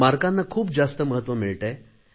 गुणांना खूप जास्त महत्त्व मिळत आहे